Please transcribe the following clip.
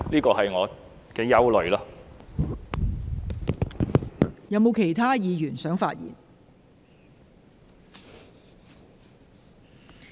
是否有其他委員想發言？